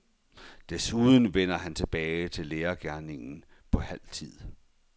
Desuden vender han tilbage til lærergerningen på halv tid.